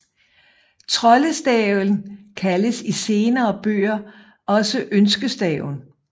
Troldestaven kaldes i senere bøger også ønskestaven